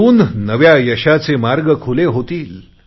त्यातून नव्या यशाचे नवे मार्ग खुले होतील